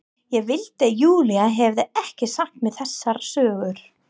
Ég vildi að Júlía hefði ekki sagt mér þessar sögur.